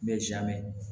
N bɛ zaamɛ